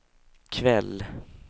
kväll